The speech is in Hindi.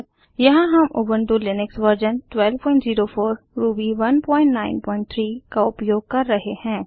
यहाँ हम उबंटु लिनक्स वर्जन 1204 रूबी 193 का उपयोग कर रहे हैं